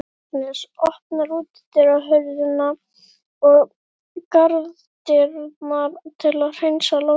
Agnes opnar útidyrnar og garðdyrnar til að hreinsa loftið.